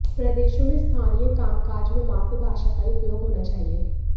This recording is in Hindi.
प्रदेशों में स्थानीय कामकाज में मातृ भाषा का ही उपयोग होना चाहिए